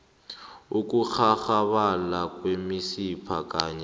ukunghanghabala kwemisipha kanye